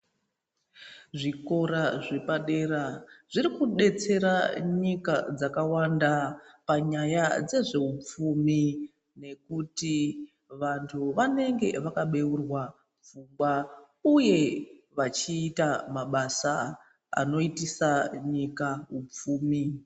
Zvikora zvapadera zviri kudetsera nyika dzakawanda panyaya yezveupfumi nekuti vantu vanenge vakabeurwa pfungwa uye vachiita mabasa anoitisa nyika upfumi.